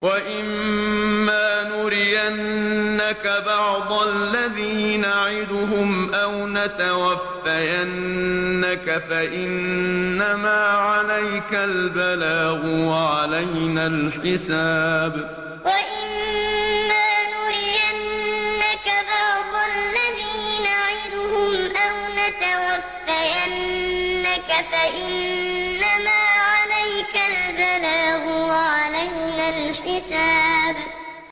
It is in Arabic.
وَإِن مَّا نُرِيَنَّكَ بَعْضَ الَّذِي نَعِدُهُمْ أَوْ نَتَوَفَّيَنَّكَ فَإِنَّمَا عَلَيْكَ الْبَلَاغُ وَعَلَيْنَا الْحِسَابُ وَإِن مَّا نُرِيَنَّكَ بَعْضَ الَّذِي نَعِدُهُمْ أَوْ نَتَوَفَّيَنَّكَ فَإِنَّمَا عَلَيْكَ الْبَلَاغُ وَعَلَيْنَا الْحِسَابُ